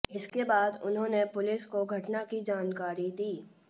इसके बाद उन्होंने पुलिस को घटना की जानकारी दी